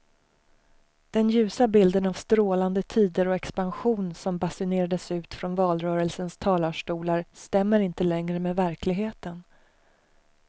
Den ljusa bilden av strålande tider och expansion som basunerades ut från valrörelsens talarstolar stämmer inte längre med verkligheten.